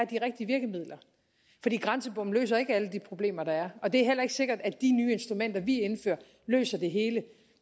de rigtige virkemidler fordi grænsebomme løser ikke alle de problemer der er og det er heller ikke sikkert at de nye instrumenter vi indfører løser det hele